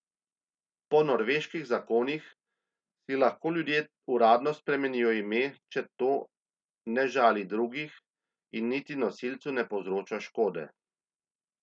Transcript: Po norveških zakonih si lahko ljudje uradno spremenijo ime, če to ne žali drugih in niti nosilcu ne povzroča škode.